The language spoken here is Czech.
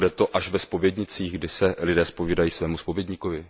Bude to až ve zpovědnicích, kde se lidé zpovídají svému zpovědníkovi?